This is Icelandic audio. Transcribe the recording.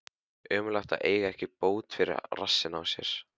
Ömurlegt að eiga ekki bót fyrir rassinn á sér.